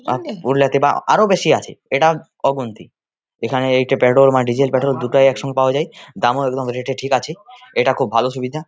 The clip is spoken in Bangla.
আরো বেশি আছে এটা অগুন্তি এখানে পেট্রোল ডিজেল পেট্রোল দুটোই একসঙ্গে পাওয়া যায় দামও রেট -এ ঠিক আছে এটা খুব ভালো সুবিধা।